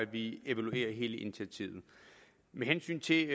vi evaluerer hele initiativet med hensyn til